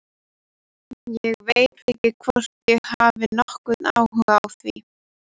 Ég veit ekki hvort ég hef nokkurn áhuga á því.